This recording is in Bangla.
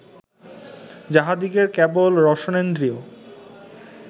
যাঁহাদিগের কেবল রসনেন্দ্রিয়